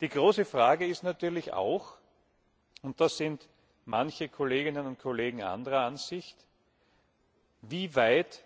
Die große Frage ist natürlich auch und da sind manche Kolleginnen und Kollegen anderer Ansicht wie weit